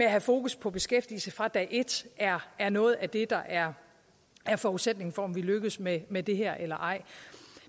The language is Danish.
at have fokus på beskæftigelsen fra dag et er er noget af det der er er forudsætningen for om vi lykkes med med det her eller ej